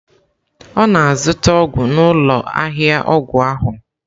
Ọ na-azụta ọgwụ n'ụlọ ahịa ọgwụ ahụ.